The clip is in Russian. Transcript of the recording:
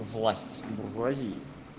власть буржуазии